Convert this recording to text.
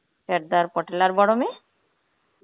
সারদার পাটেল আর বড় মেয়ে?